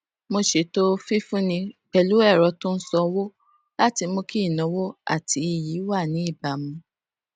mo ṣètò fífúnni pẹlú ẹrọ tó n sanwó láti mú kí ìnáwó àti iyì wà ní ìbámu